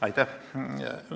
Aitäh!